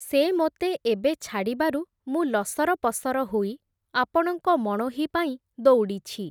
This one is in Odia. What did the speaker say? ସେ ମୋତେ ଏବେ ଛାଡ଼ିବାରୁ ମୁଁ ଲସରପସର ହୋଇ, ଆପଣଙ୍କ ମଣୋହି ପାଇଁ ଦଉଡ଼ିଛି ।